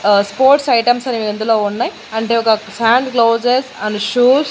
ఆ sports items అనేవి అందులో ఉన్నాయి అంటే ఒక సాండ్ గ్లౌజెస్ అండ్ షూస్ .